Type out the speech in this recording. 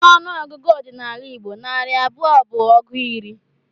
N'ọnụ ọgụgụ ọdịnala Igbo, narị abụọ bụ ọgụ iri.